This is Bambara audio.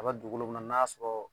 A bɛ dugukolo min na n'a sɔrɔ